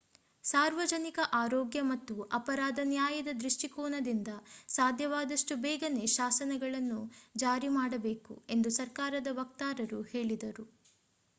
ಸಾರ್ವಜನಿಕ ಆರೋಗ್ಯ ಮತ್ತು ಅಪರಾಧ ನ್ಯಾಯದ ದೃಷ್ಟಿಕೋನದಿಂದ ಸಾಧ್ಯವಾದಷ್ಟು ಬೇಗನೆ ಶಾಸನವನ್ನು ಜಾರಿ ಮಾಡಬೇಕು ಎಂದು ಸರ್ಕಾರದ ವಕ್ತಾರರು ಹೇಳಿದರು